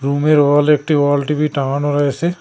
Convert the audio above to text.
রুমের ওয়ালে একটি ওয়াল টি_ভি টাঙানো রয়েছে।